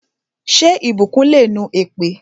Ṣé ìbùkún le nu èpè?